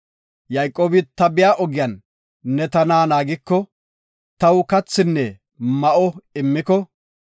Yayqoobi, “Ta biya ogiyan ne tana naagiko, taw kathinne ma7o immiko,